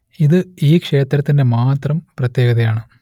ഇത് ഈ ക്ഷേത്രത്തിന്റെ മാത്രം പ്രത്യേകതയാണ്